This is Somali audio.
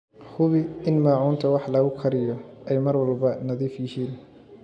Hubi in maacuunta wax lagu kariyo ay mar walba nadiif yihiin.